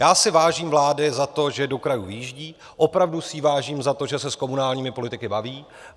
Já si vážím vlády za to, že do krajů vyjíždí, opravdu si jí vážím za to, že se s komunálními politiky baví.